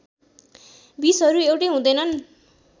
विषहरू एउटै हुँदैनन्